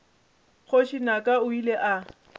kgoši naka o ile a